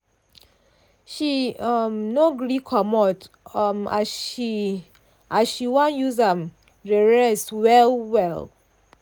she um no gree coomot um as she as she wan use am um rest well-well.